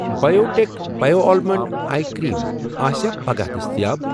Biotech bio almond eye cream آسیٚا پگاہ دٔستِیاب؟